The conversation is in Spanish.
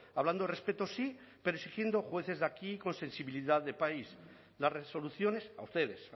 hablando de respeto sí pero exigiendo jueces de aquí con sensibilidad de país las resoluciones a ustedes